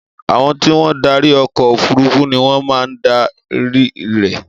Àwọn tí wọ́n darí ọkọ̀ òfurufú ni wọ́n máa dárí rẹ̀.